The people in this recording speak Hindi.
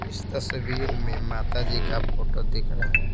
इस तस्वीर में माता जी का फोटो दिख रहा है।